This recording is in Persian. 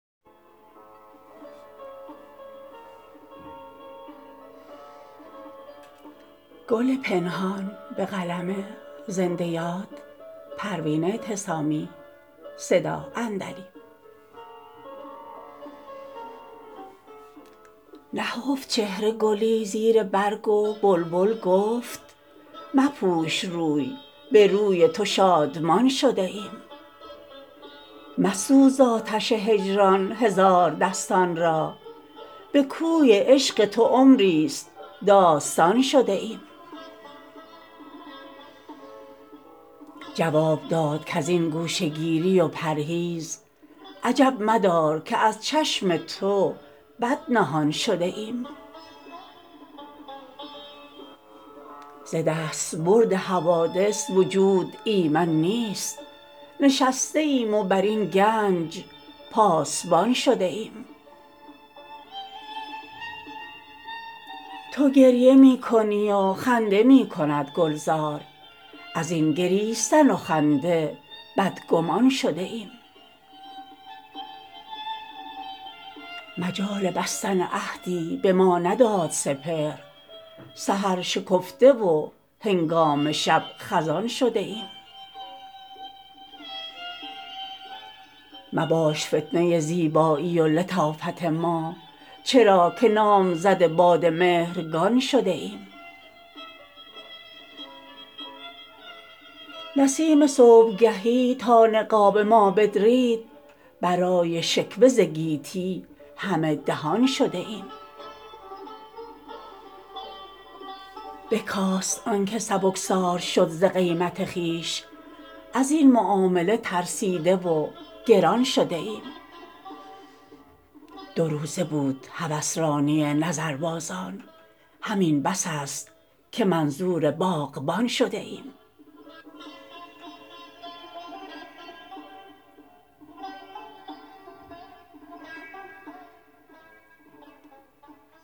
نهفت چهره گلی زیر برگ و بلبل گفت مپوش روی به روی تو شادمان شده ایم مسوز ز آتش هجران هزار دستان را بکوی عشق تو عمری ست داستان شده ایم جواب داد کازین گوشه گیری و پرهیز عجب مدار که از چشم بد نهان شده ایم ز دستبرد حوادث وجود ایمن نیست نشسته ایم و بر این گنج پاسبان شده ایم تو گریه می کنی و خنده میکند گلزار ازین گریستن و خنده بد گمان شده ایم مجال بستن عهدی بما نداد سپهر سحر شکفته و هنگام شب خزان شده ایم مباش فتنه زیبایی و لطافت ما چرا که نامزد باد مهرگان شده ایم نسیم صبحگهی تا نقاب ما بدرید برای شکوه ز گیتی همه دهان شده ایم بکاست آنکه سبکسار شد ز قیمت خویش ازین معامله ترسیده و گران شده ایم دو روزه بود هوسرانی نظربازان همین بس است که منظور باغبان شده ایم